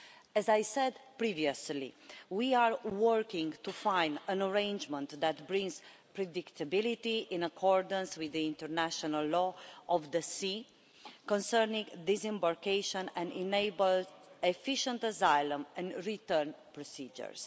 As I said previously, we are working to find an arrangement that brings predictability, in accordance with the international law of the sea concerning disembarkation, and enables efficient asylum and return procedures.